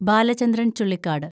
Balachandran‍ Chullikkad